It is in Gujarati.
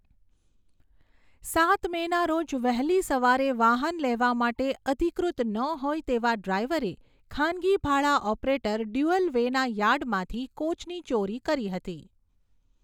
સાત મેના રોજ વહેલી સવારે વાહન લેવા માટે અધિકૃત ન હોય તેવા ડ્રાઇવરે ખાનગી ભાડા ઓપરેટર ડ્યુઅલવેના યાર્ડમાંથી કોચની ચોરી કરી હતી.